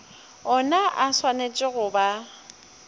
ona a swanetše go ba